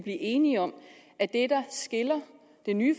enige om at det der skiller det nye